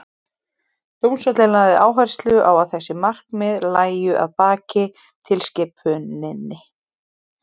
dómstóllinn lagði áherslu á að þessi markmið lægju að baki tilskipuninni